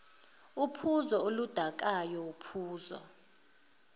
uphuzo oludakayo uphuzo